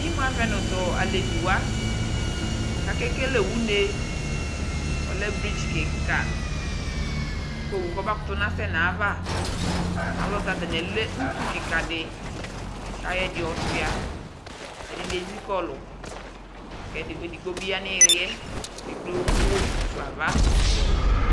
Imu avɛ nʋ tʋ aleviwa kʋ akekele une, ɔlɛ bridzi kika kʋ owu kɔbakʋtʋ nasɛ n'ayava, ayɛlʋtɛ, atani alɛ utu kika di kayɔ ɛdi yɔsʋa Ɛdini ezikɔlʋ, kʋ edigbo bi yanʋ iyili kʋ ekple ʋwɔ mʋfa nava